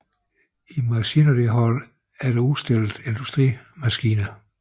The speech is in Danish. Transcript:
I Machinery Hall blev der udstillet Industrimaskiner